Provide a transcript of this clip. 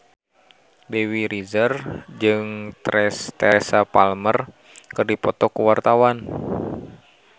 Dewi Rezer jeung Teresa Palmer keur dipoto ku wartawan